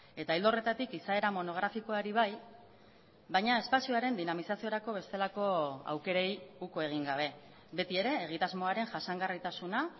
eta ildo horretatik izaera monografikoari bai baina espazioaren dinamizaziorako bestelako aukerei uko egin gabe beti ere egitasmoaren jasangarritasuna